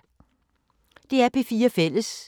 DR P4 Fælles